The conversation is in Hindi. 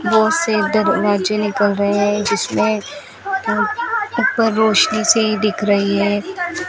बहुत से दरवाजे निकल रहे हैं जिसमें ऊपर रोशनी सी दिख रही है।